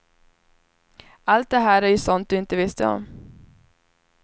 Allt det här är ju sånt du inte visste om.